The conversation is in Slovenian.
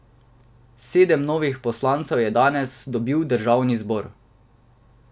Sedem novih poslancev je danes dobil državni zbor.